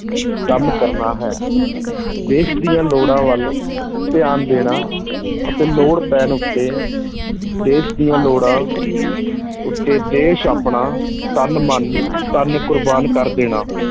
ਕੰਮ ਕਰਨਾ ਹੈ, ਦੇਸ਼ ਦੀਆਂ ਲੋੜਾਂ ਵੱਲ ਧਿਆਨ ਦੇਣਾ ਅਤੇ ਲੋੜ ਪੈਣ ਉੱਤੇ ਦੇਸ਼ ਦੀਆਂ ਲੋੜਾਂ ਉੱਤੇ ਦੇਸ਼ ਆਪਣਾ ਤਨ, ਮਨ, ਧਨ ਕੁਰਬਾਨ ਕਰ ਦੇਣਾ।